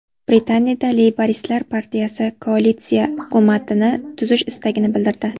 Britaniyada Leyboristlar partiyasi koalitsiya hukumatini tuzish istagini bildirdi.